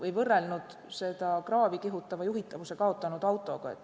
Olen võrrelnud seda juhitavuse kaotanud autoga.